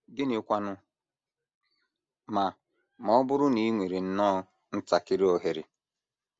Gịnịkwanụ ma ma ọ bụrụ na i nwere nnọọ ntakịrị ohere?